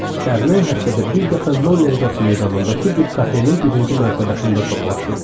Dərnək həftədə bir dəfə Nollenorf meydanındakı bir kafenin birinci mərtəbəsində toplaşırdı.